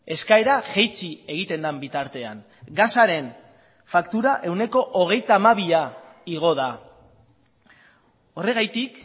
eskaera jaitsi egiten den bitartean gasaren faktura ehuneko hogeita hamabia igo da horregatik